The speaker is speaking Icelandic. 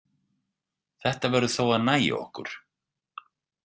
Þetta verður þó að nægja okkur.